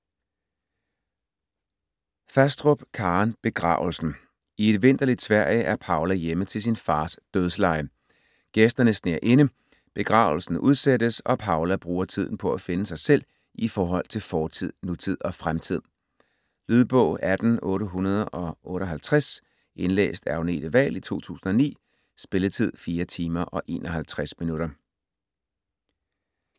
Fastrup, Karen: Begravelsen I et vinterligt Sverige er Paula hjemme til sin fars dødsleje. Gæsterne sner inde, begravelsen udsættes, og Paula bruger tiden på at finde sig selv i forhold til fortid, nutid og fremtid. Lydbog 18858 Indlæst af Agnete Wahl, 2009. Spilletid: 4 timer, 51 minutter.